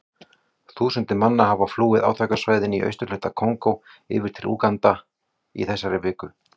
Þúsundir manna hafa flúið átakasvæðin í austurhluta Kongó yfir til Úganda í þessari viku.